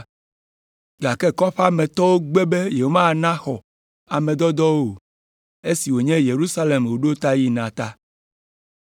Gake kɔƒea me tɔwo gbe be yewomana xɔ ame dɔdɔawo o, esi wònye Yerusalem woɖo yina ta.